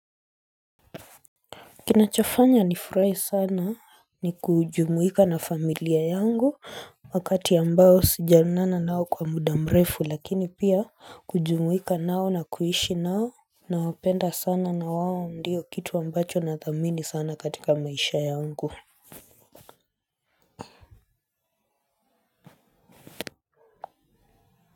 Kinachofanya nifurahi sana ni kujumuika na familia yangu, wakati ambao sijaonana nao kwa muda mrefu lakini pia, kujumuika nao na kuishi nao, nawapenda sana na wao ndio kitu ambacho nathamini sana katika maisha yangu.